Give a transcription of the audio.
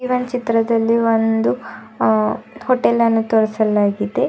E ಒನ್ ಚಿತ್ರದಲ್ಲಿ ಒಂದು ಅ ಹೋಟೆಲ್ ಅನ್ನು ತೋರಿಸಲಾಗಿದೆ.